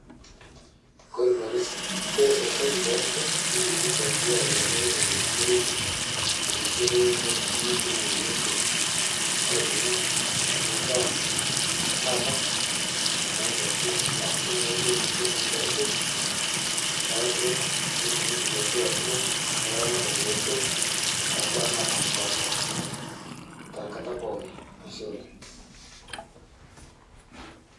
Ore sirkali kidim nisaidia olorere neretu netum ninje aibung'a embaa etaata eaas entoki naijio extension services elaturok ilaramatak loo suam to mbaa napashipasha tenkata pookin